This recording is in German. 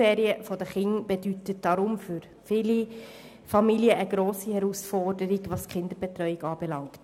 Die Schulferien bedeuten daher für viele Familien eine grosse Herausforderung, was die Kinderbetreuung anbelangt.